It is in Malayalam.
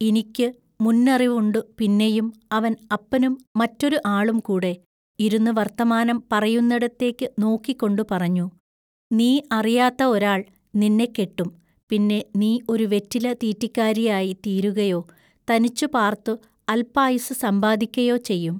ഇനിക്കു മുന്നറിവുണ്ടു പിന്നെയും അവൻ അപ്പനും മറെറാരു ആളും കൂടെ ഇരുന്നു വൎത്തമാനം പറയുന്നിടത്തേക്കു നോക്കിക്കൊണ്ടു പറഞ്ഞു:-നീ അറിയാത്ത ഒരാൾ നിന്നെ കെട്ടും പിന്നെ നീ ഒരു വെറ്റില തീറ്റിക്കാരിയായി തീരുകയൊ തനിച്ചുപാർത്തു അല്പായുസ്സു സമ്പാദിക്കയൊ ചെയ്യും.